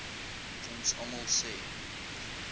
ons almal se